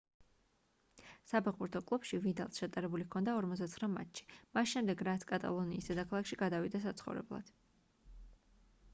საფეხბურთო კლუბში ვიდალს ჩატარებული ჰქონდა 49 მატჩი მას შემდეგ რაც კატალონიის დედაქალაქში გადავიდა საცხოვრებლად